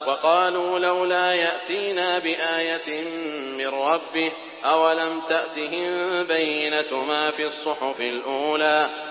وَقَالُوا لَوْلَا يَأْتِينَا بِآيَةٍ مِّن رَّبِّهِ ۚ أَوَلَمْ تَأْتِهِم بَيِّنَةُ مَا فِي الصُّحُفِ الْأُولَىٰ